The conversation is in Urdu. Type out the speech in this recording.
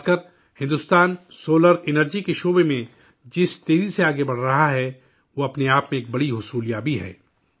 خاص کر، بھارت سولر انرجی کے شعبے میں جس تیزی سے آگے بڑھ رہا ہے، وہ اپنے آپ میں ایک بڑی کامیابی ہے